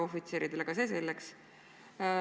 Aga see selleks.